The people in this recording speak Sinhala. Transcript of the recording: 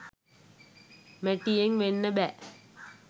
මැටියෙන් වෙන්න බෑ